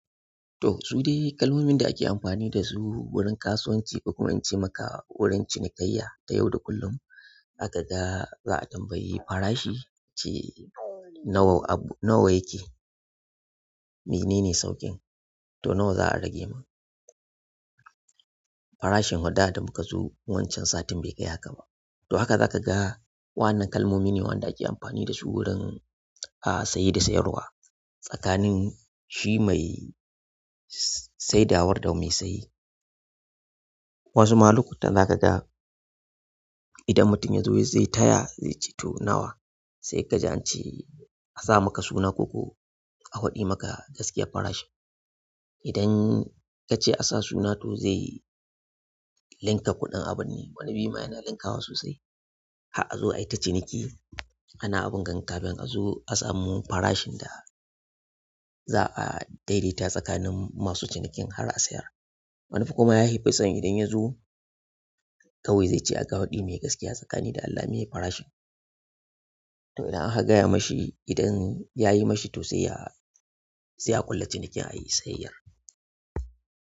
To su dai kalmomin da ake amfani da su wurin kasuwanci, ko kuma in ce maka wurin cinikayya ta yau da kullum. Za ka ga za a tambayi farashi ce nawa yake, menene sauƙin, to nawa za a rage min. Farashin fa da da muka zo wancan satin bai kai haka ba. To haka zaka ga wa'annan kalmomi ne waɗanda ake amfani da su wurin ahh saye da sayarwa tsakanin shi mai saidawar da mai saye. Wasu ma lokutan zaka ga idan mutum ya zo zai taya zai ce to nawa? Sai kaji an ce, a saka maka suna ko ko a faɗi maka gaskiyar farashin idan ka ce a sa suna to zai linka kuɗin abun ne, wani bi ma yana linkawa sosai. Har a zo ai ta ciniki kana abun ga, kafin a zo a samu farashin da za a daidaita tsakanin masu cinikin har a sayar. Manufar kuma ya fison idan ya zo kawai zai ce a'a ka faɗi mai gaskiya tsakanin da Allah meye farashin. To idan aka gaya mashi idan yayi mashi to sai ya, sai a ƙulla cinikin a yi sayayyar.